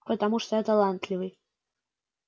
потому что я талантливый